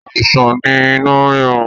Àìsàn ni inu rírun